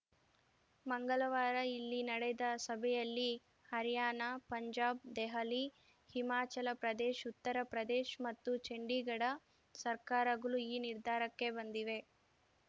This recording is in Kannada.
ಮಂಗಳವಾರ ಇಲ್ಲಿ ನಡೆದ ಸಭೆಯಲ್ಲಿ ಹರ್ಯಾಣ ಪಂಜಾಬ್‌ ದೆಹಲಿ ಹಿಮಾಚಲ ಪ್ರದೇಶ್ ಉತ್ತರ ಪ್ರದೇಶ್ ಮತ್ತು ಚಂಡೀಗಢ ಸರ್ಕಾರಗಳು ಈ ನಿರ್ಧಾರಕ್ಕೆ ಬಂದಿವೆ